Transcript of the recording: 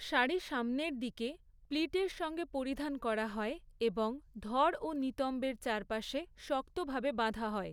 শাড়ি সামনের দিকে, প্লিটের সঙ্গে পরিধান করা হয় এবং ধড় ও নিতম্বের চারপাশে, শক্তভাবে বাঁধা হয়।